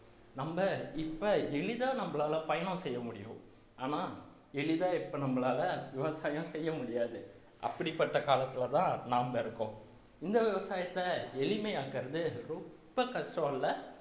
நம்ம இப்ப எளிதா நம்மளால பயணம் செய்ய முடியும் ஆனா எளிதா இப்ப நம்மளால விவசாயம் செய்ய முடியாது அப்படிப்பட்ட காலத்துலதான் நாம இருக்கோம் இந்த விவசாயத்தை எளிமையாக்கறது ரொம்ப கஷ்டம் இல்லை